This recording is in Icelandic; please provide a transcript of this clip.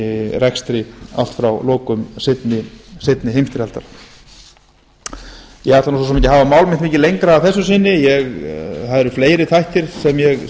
rekstri allt frá lokum seinni heimsstyrjaldar ég ætla svo sem ekki að hafa mál mitt mikið lengra að þessu sinni það eru fleiri þættir sem